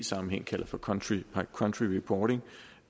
sammenhæng kalder for country country reporting